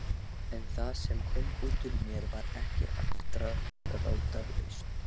En það sem kom út úr mér var ekki afdráttarlaust.